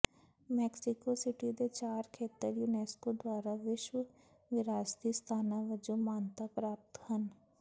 Mexico City ਦੇ ਚਾਰ ਖੇਤਰ ਯੂਨੇਸਕੋ ਦੁਆਰਾ ਵਿਸ਼ਵ ਵਿਰਾਸਤੀ ਸਥਾਨਾਂ ਵਜੋਂ ਮਾਨਤਾ ਪ੍ਰਾਪਤ ਹਨ